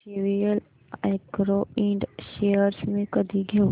JVL agro ind shares मी कधी घेऊ